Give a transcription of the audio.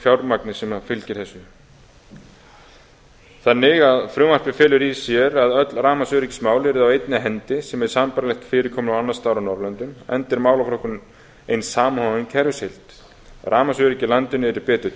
fjármagnið sem fylgir þessu frumvarpið felur því í sér að öll rafmagnsöryggismál yrðu á einni hendi sem er sambærilegt fyrirkomulagi annars staðar á norðurlöndum enda er málaflokkurinn ein samofin kerfisheild rafmagnsöryggi í landinu yrði betur